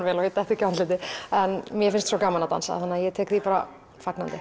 vel og ég detti ekki á andlitið en mér finnst svo gaman að dansa að ég tek því bara fagnandi